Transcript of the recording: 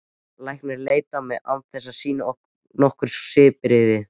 Læknirinn leit á mig án þess að sýna nokkur svipbrigði.